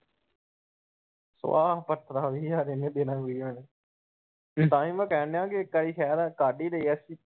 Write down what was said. ਸਵਾ ਕੁੱਟਣਾ ਵੀਹ ਹਜਾਰ ਇਹਨੇ ਦੇਣਾ . ਨੇ ਤਾਹੀਂ ਮੈਂ ਕਹਿਣ ਦਿਆ ਇੱਕ ਵਾਰੀ ਸਹਿਰ ਆਣਕੇ ਕੱਡ ਈ‌ ਦਈਏ।